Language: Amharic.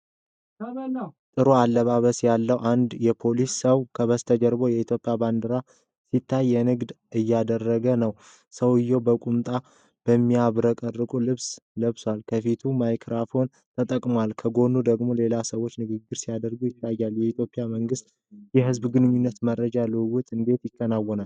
ጥሩ አለባበስ ያለው አንድ የፖለቲካ ሰው፣ ከበስተጀርባ የኢትዮጵያ ባንዲራ ሲታይ፣ ንግግር እያደረገ ነው። ሰውዬው በቁምጣውና በሚያብረቀርቅ ልብስ ለብሷል። ከፊቱ ማይክራፎኖች ተቀምጠዋል። ከጎኑ ደግሞ ሌላ ሰው ንግግር ሲያደርግ ይታያል። የኢትዮጵያ መንግሥት የሕዝብ ግንኙነትና የመረጃ ልውውጥ እንዴት ይከናወናል?